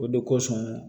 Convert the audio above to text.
O de kosɔn